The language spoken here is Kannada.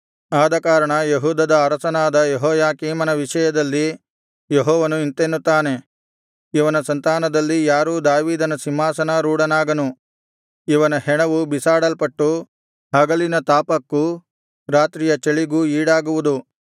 ಆದಕಾರಣ ಯೆಹೂದದ ಅರಸನಾದ ಯೆಹೋಯಾಕೀಮನ ವಿಷಯದಲ್ಲಿ ಯೆಹೋವನು ಇಂತೆನ್ನುತ್ತಾನೆ ಇವನ ಸಂತಾನದಲ್ಲಿ ಯಾರೂ ದಾವೀದನ ಸಿಂಹಾಸನಾರೂಢನಾಗನು ಇವನ ಹೆಣವು ಬಿಸಾಡಲ್ಪಟ್ಟು ಹಗಲಿನ ತಾಪಕ್ಕೂ ರಾತ್ರಿಯ ಚಳಿಗೂ ಈಡಾಗುವುದು